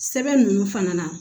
Sɛbɛn ninnu fana na